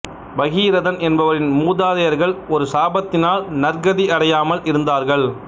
பகீரதன் என்பவரின் மூதாதையர்கள் ஒரு சாபத்தினால் நற்கதி அடையாமல் இருந்தார்கள்